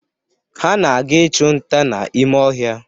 Ha na-aga ịchụ nta n'ime ọhịa.